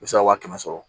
I bɛ se ka wa kɛmɛ sɔrɔ